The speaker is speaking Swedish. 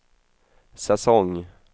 säsong